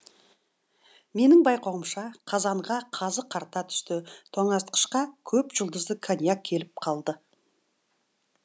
менің байқауымша қазанға қазы қарта түсті тоңазытқышқа көп жұлдызды коньяк келіп қалды